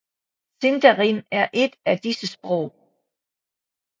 Sindarin er et af disse sprog